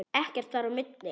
Ekkert þar á milli.